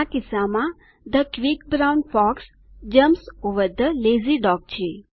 આ કિસ્સામાં the quick brown fox jumps over the lazy dog છે